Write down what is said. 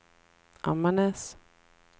Ammarnäs